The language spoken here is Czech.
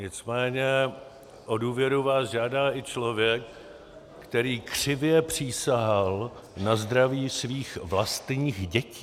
Nicméně o důvěru vás žádá i člověk, který křivě přísahal na zdraví svých vlastních dětí.